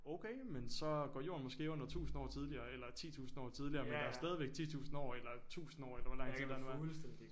Okay men så går jorden måske under 1000 år tidligere eller 10000 år tidligere men der er stadigvæk 10000 år eller 1000 år eller hvor lang tid der nu er